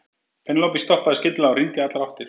Penélope stoppaði skyndilega og rýndi í allar áttir.